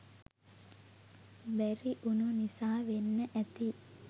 බැරි උනු නිසා වෙන්න ඇති.